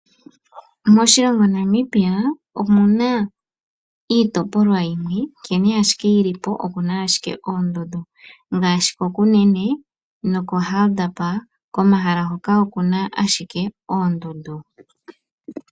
Moshilongo Namibia omuna iitopolwa yimwe nkene ashike yi li po okuna ashike oondundu, ngaashi koKunene noko Hardap komahala hoka okuna ashike oondundu.